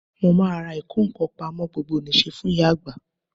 mo máa ra ìkó ǹkan pamọ́ gbogbonise fún ìyá agba